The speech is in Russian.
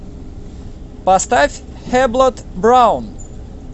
поставь хэблот браун